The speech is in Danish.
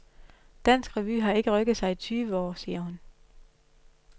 Dansk revy har ikke rykket sig i tyve år, siger hun.